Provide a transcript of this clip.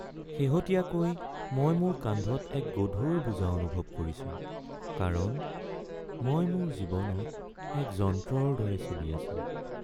শেহতীয়াকৈ মই মোৰ কান্ধত এক গধুৰ বোজা অনুভৱ কৰিছো কাৰণ মই মোৰ জীৱনত এক যন্ত্ৰৰ দৰে চলি আছোঁ।